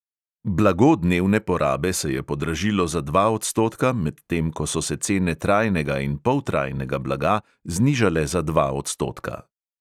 Blago dnevne porabe se je podražilo za dva odstotka, medtem ko so se cene trajnega in poltrajnega blaga znižale za dva odstotka.